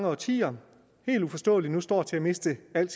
årtier helt uforståeligt står til at miste al